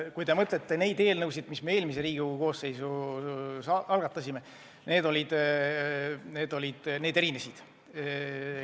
Kui võrrelda nende eelnõudega, mis me eelmise koosseisu ajal algatasime, siis need olid erinevad.